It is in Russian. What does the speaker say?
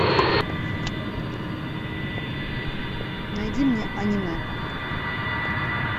найди мне аниме